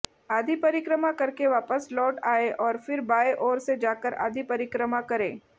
आधी परिक्रमा करके वापस लौट आएं और फिर बाएं ओर से जाकर आधी परिक्रमा करें